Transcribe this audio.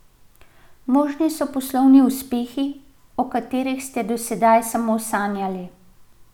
Možni so poslovni uspehi, o katerih ste do sedaj samo sanjali.